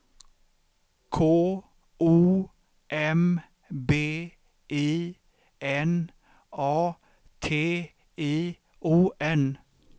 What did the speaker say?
K O M B I N A T I O N